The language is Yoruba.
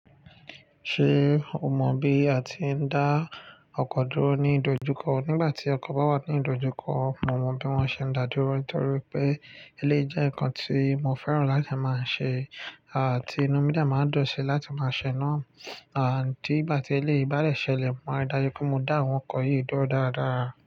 Ṣé o mọ bí a ti ń dá ọkọ dúró ní ìdojúkọ? Nígbà tí ọkọ̀ bá wà ní ìdojúkọ, mo mọ bí wón ṣe ń dáa dúró, nítorí pé eléyìí jẹ́ nǹkan tí mo fẹ́ràn láti máa ṣe. Àti inú mi dà máa dọ̀tí láti máa ṣéná. Àní tígbà tí eléyìí bá dẹ̀ ṣẹlẹ̀, màá ri dájú pé mo dá àwọn ọkọ̀ yìí dúró dáradára.